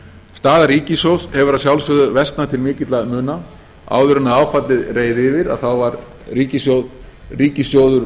staða ríkissjóðs hefur að sjálfsögðu versnað til mikilla muna áður en áfallið reið yfir var ríkissjóður